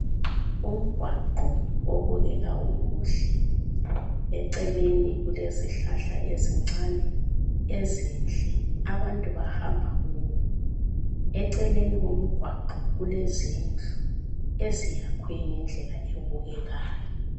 Umgwaqo obukeka umuhle, eceleni kulezihlahla ezincane ezinhle abantu bahamba kuwo ,eceleni komgwaqo kulezindlu eziyakhwe ngendlela ebukekayo